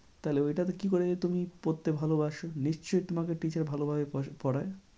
তাহলে ওইটাতে কি করে তুমি পড়তে ভালোবাসো? নিশ্চই তোমাকে teacher ভালো ভাবে পড়ায়